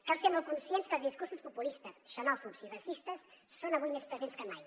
cal ser molt conscients que els discursos populistes xenòfobs i racistes són avui més presents que mai